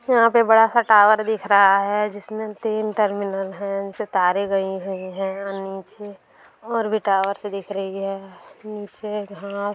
यहां एक बड़ासा सा टावर दिख रहा है जिसमें तीन टर्मिनल हैं नीचे तारे गयी हैं नीचे और भी टावर सी दिख रही हैं नीचे घांस--